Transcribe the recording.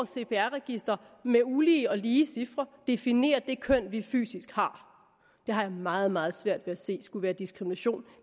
cpr register med ulige og lige cifre definerer det køn vi fysisk har jeg har meget meget svært ved at se skulle være diskrimination